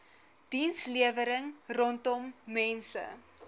dienslewering rondom mense